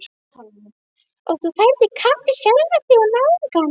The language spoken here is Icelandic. Og þú ferð í kapp við sjálfan þig og náungann.